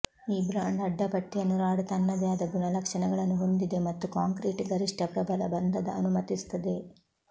ಈ ಬ್ರಾಂಡ್ ಅಡ್ಡಪಟ್ಟಿಯನ್ನು ರಾಡ್ ತನ್ನದೇ ಆದ ಗುಣಲಕ್ಷಣಗಳನ್ನು ಹೊಂದಿದೆ ಮತ್ತು ಕಾಂಕ್ರೀಟ್ ಗರಿಷ್ಟ ಪ್ರಬಲ ಬಂಧದ ಅನುಮತಿಸುತ್ತದೆ